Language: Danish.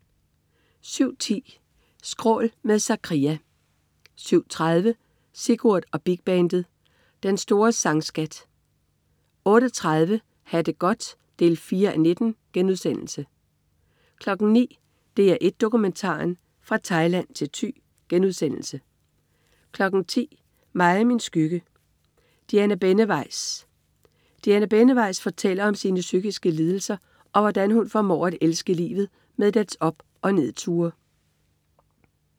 07.10 Skrål. Med Zakria 07.30 Sigurd og Big Bandet. Den store sang-scat 08.30 Ha' det godt 4:19* 09.00 DR1 Dokumentaren. Fra Thailand til Thy* 10.00 Mig og min skygge: Diana Benneweis. Diana Benneweis fortæller om sine psykiske lidelser, og hvordan hun formår at elske livet med dets op- og nedture